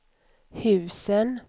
husen